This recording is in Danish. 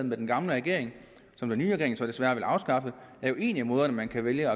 med den gamle regering og som den nye regering så desværre vil afskaffe det er jo en af måderne man kan vælge